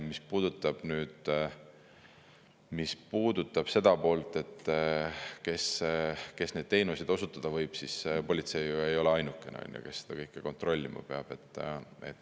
Mis puudutab seda poolt, et kes neid teenuseid osutada võib, siis politsei ei ole ju ainukene, kes seda kõike kontrollima peab.